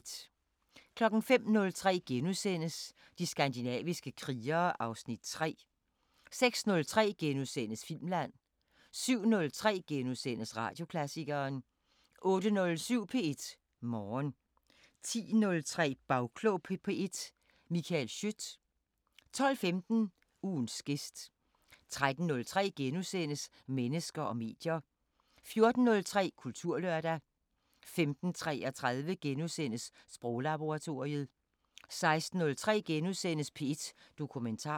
05:03: De skandinaviske krigere (Afs. 3)* 06:03: Filmland * 07:03: Radioklassikeren * 08:07: P1 Morgen 10:03: Bagklog på P1: Michael Schiødt 12:15: Ugens gæst 13:03: Mennesker og medier * 14:03: Kulturlørdag 15:33: Sproglaboratoriet * 16:03: P1 Dokumentar *